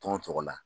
Tɔn tɔgɔ la